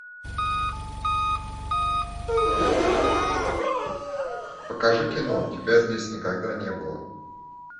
покажи кино тебя здесь никогда не было